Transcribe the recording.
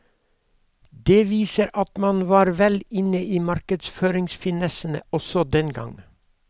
Det viser at man var vel inne i markedsføringsfinessene også den gang.